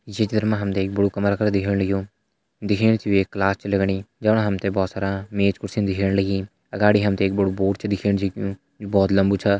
ये चित्र मा हम तें बड़ु कमरा कर दिखेण लग्युं दिखेण सी वे एक क्लास च लगणी जफणा हम तें भोत सारा मेज कुर्सी दिखेण लगीं अगाड़ी हम तें एक बड़ु बोर्ड छ दिखेण जै कु भोत लम्बू छा।